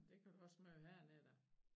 Det kan du også møde hernede da